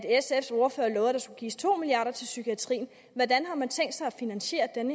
sfs ordfører love at der skulle gives to milliard kroner til psykiatrien hvordan har man tænkt sig at finansiere den